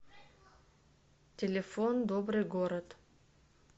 телефон добрый город